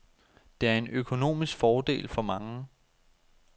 Det er en økonomisk fordel for mange.